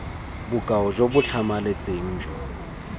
bokao jo bo tlhamaletseng jo